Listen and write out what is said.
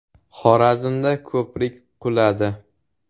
Xorazmda ko‘prik quladi.